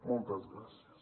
moltes gràcies